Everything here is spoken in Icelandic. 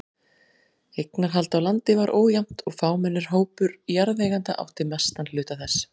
Eignarhald á landi var ójafnt og fámennur hópur jarðeigenda átti mestan hluta þess.